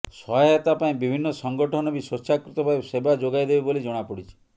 ସହାୟତା ପାଇଁ ବିଭିନ୍ନ ସଂଗଠନ ବି ସ୍ବେଚ୍ଛାକୃତ ଭାବେ ସେବା ଯୋଗାଇଦେବେ ବୋଲି ଜଣାପଡ଼ିଛି